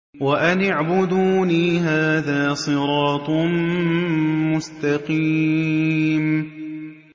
وَأَنِ اعْبُدُونِي ۚ هَٰذَا صِرَاطٌ مُّسْتَقِيمٌ